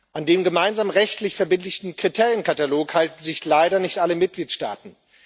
An de gemeinsamen rechtlich verbindlichen Kriterienkatalog halten sich leider nicht alle Mitgliedstaaten.